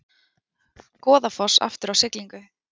Goðafoss aftur á siglingu